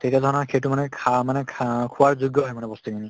তেতিয়া ধৰা সেইটো মানে খা মানে খা আহ খোৱাৰ যোগ্য় হয় মানে বস্তু খিনি।